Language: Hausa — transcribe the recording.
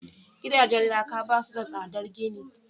gidajen laka ba su da tsadar gini